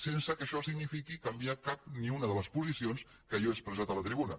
sense que això signifiqui canviar cap ni una de les posicions que jo he expressat a la tribuna